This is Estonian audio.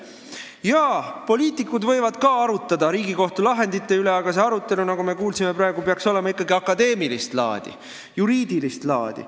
Jah, poliitikud võivad arutada ka Riigikohtu lahendeid, aga see arutelu, nagu me praegu kuulsime, peaks olema ikkagi akadeemilist laadi, juriidilist laadi.